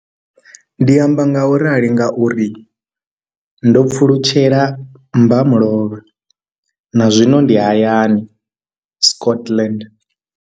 Ndi amba ngauralo nga uri ndo pfulutshela mmba mulovha na zwino ndi hayani, Scotland.